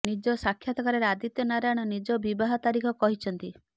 ନିଜ ସାକ୍ଷାତକାରରେ ଆଦିତ୍ୟ ନାରାୟଣ ନିଜ ବିବାହ ତାରିଖ କହିଛନ୍ତି